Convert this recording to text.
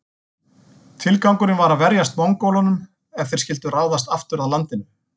Tilgangurinn var að verjast Mongólunum ef þeir skyldu ráðast aftur að landinu.